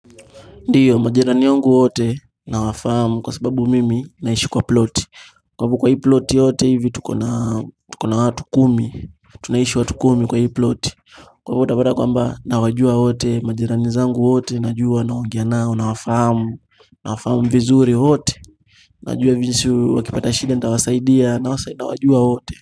Ndiyo majirani wangu wote nawafahamu kwa sababu mimi naishi kwa ploti kwa hivyo kwa hii ploti yote hivi tuko na watu kumi tunaishi watu kumi kwa hii ploti kwa hivyo utapata kwamba nawajua wote majirani zangu wote najua naongea nao nawafahamu nawafahamu vizuri wote Najua vijusu wakipata shida nitawasaidia nawajua wote.